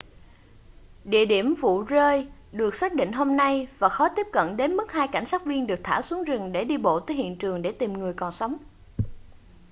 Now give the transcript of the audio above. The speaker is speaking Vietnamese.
địa điểm vụ rơi được xác định hôm nay và khó tiếp cận đến mức hai cảnh sát viên được thả xuống rừng để đi bộ tới hiện trường để tìm người còn sống